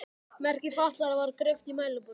Merki fatlaðra var greypt í mælaborðið.